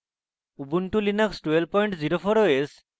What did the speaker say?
ubuntu linux 1204 os